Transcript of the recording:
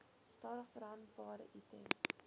stadig verhandelbare items